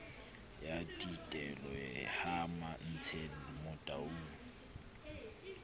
ya thitelo ha mantshele motaung